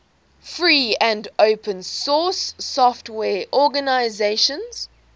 free and open source software organizations